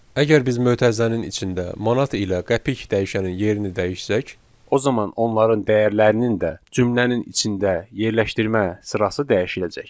Əgər biz mötərizənin içində manat ilə qəpik dəyişənin yerini dəyişsək, o zaman onların dəyərlərinin də cümlənin içində yerləşdirmə sırası dəyişiləcək.